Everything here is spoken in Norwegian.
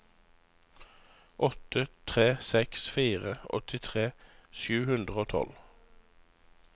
åtte tre seks fire åttitre sju hundre og tolv